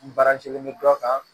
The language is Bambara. N baara kelen bɛ dɔ kan